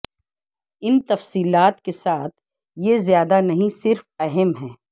ان تفصیلات کے ساتھ یہ زیادہ نہیں صرف اہم ہے